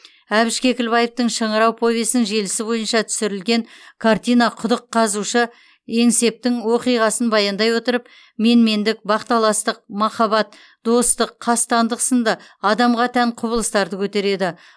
әбіш кекілбаевтың шыңырау повесінің желісі бойынша түсірілген картина құдық қазушы еңсептің оқиғасын баяндай отырып менмендік бақталастық махаббат достық қастандық сынды адамға тән құбылыстарды көтереді